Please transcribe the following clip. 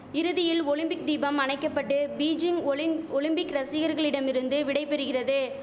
இறுதியில் ஒலிம்பிக் தீபம் அணைக்கபட்டு பீஜிங் ஒலிங் ஒலிம்பிக் ரசிகர்களிடமிருந்து விடை பெறுகிறது